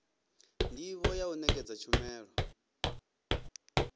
ndivho ya u nekedza tshumelo